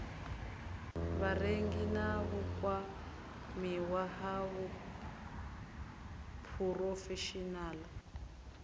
vharengi na vhukwamiwa ha phurofeshinaḽa